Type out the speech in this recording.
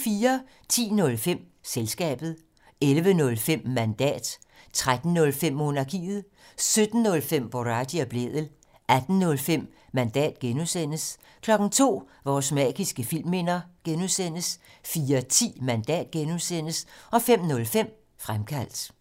10:05: Selskabet 11:05: Mandat 13:05: Monarkiet 17:05: Boraghi og Blædel 18:05: Mandat (G) 02:00: Vores magiske filmminder (G) 04:10: Mandat (G) 05:05: Fremkaldt